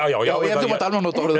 já já já þú mátt alveg nota orðið